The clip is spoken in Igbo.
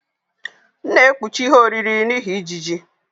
M na-ekpuchi ihe oriri n'ihi ijiji.